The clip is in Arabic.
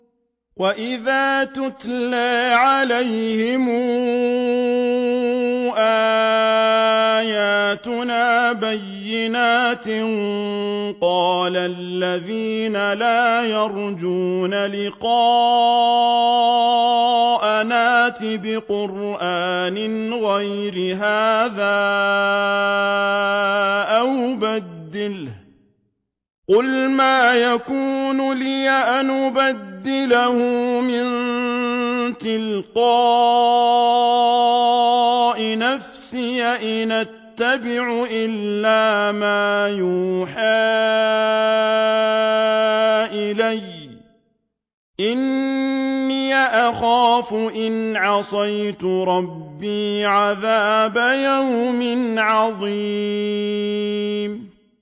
وَإِذَا تُتْلَىٰ عَلَيْهِمْ آيَاتُنَا بَيِّنَاتٍ ۙ قَالَ الَّذِينَ لَا يَرْجُونَ لِقَاءَنَا ائْتِ بِقُرْآنٍ غَيْرِ هَٰذَا أَوْ بَدِّلْهُ ۚ قُلْ مَا يَكُونُ لِي أَنْ أُبَدِّلَهُ مِن تِلْقَاءِ نَفْسِي ۖ إِنْ أَتَّبِعُ إِلَّا مَا يُوحَىٰ إِلَيَّ ۖ إِنِّي أَخَافُ إِنْ عَصَيْتُ رَبِّي عَذَابَ يَوْمٍ عَظِيمٍ